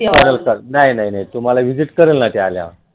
नाही नाही तुम्हाला visit करेन ना मी आल्यावर